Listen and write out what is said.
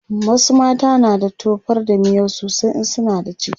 wasu mata na da tofar da miyau sosai in suna da ciki